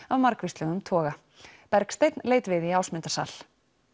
af margvíslegum toga Bergsteinn leit við í Ásmundarsal